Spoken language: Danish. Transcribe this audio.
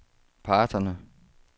parterne